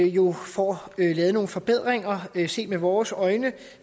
jo får lavet nogle forbedringer set med vores øjne